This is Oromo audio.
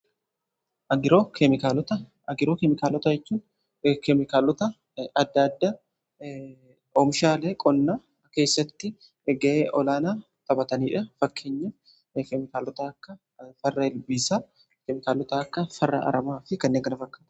Agiroo keemikaalota jechuun keemikaalota adda addaa oomishaalee qonna keessatti ga'ee olaanaa taphataniidha. Fakkeenya keemikaalota akka farra ilbiisaa keemikaalota akka farra aramaa fi kanneen fakkaatanidha.